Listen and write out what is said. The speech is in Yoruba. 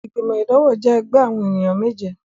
Igbimọ idanwo jẹ ẹgbẹ awọn eniyan meje